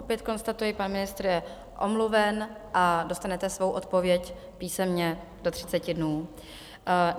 Opět konstatuji, pan ministr je omluven a dostanete svou odpověď písemně do 30 dnů.